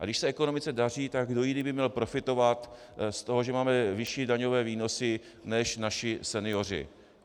A když se ekonomice daří, tak kdo jiný by měl profitovat z toho, že máme vyšší daňové výnosy, než naši senioři?